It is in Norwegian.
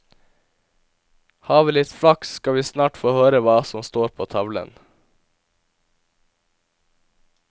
Har vi litt flaks skal vi snart få høre hva som står på tavlen.